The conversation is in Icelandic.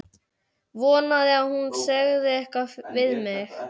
Vonaði að hún segði eitthvað við mig.